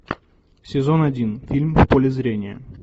сезон один фильм в поле зрения